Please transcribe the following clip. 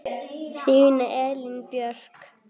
Þín Elín Björk.